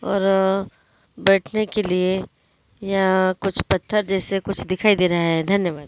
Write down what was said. और अ बैठने के लिए यह कुछ पत्थर जैसे कुछ दिखाई दे रहा है धन्यवाद।